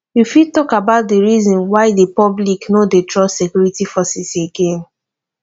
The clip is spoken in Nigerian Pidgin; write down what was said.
you fit talk about di reasons why di public no dey trust security forces again